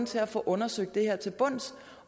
til at få undersøgt det her til bunds